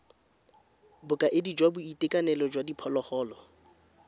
bokaedi jwa boitekanelo jwa diphologolo